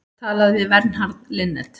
Talað við Vernharð Linnet.